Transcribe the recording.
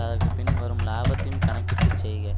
அதற்கு பின் வரும் லாபத்தையும் கணக்கிட்டு செய்க